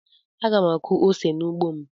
Aga m akụ ose n'ugbo m.